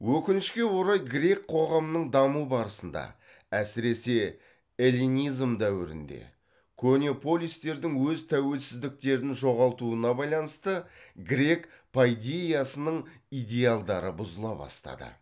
өкінішке орай грек қоғамының даму барысында әсіресе эллинизм дәуірінде көне полистердің өз тәуелсіздіктерін жоғалтуына байланысты грек пайдейясының идеалдары бұзыла бастады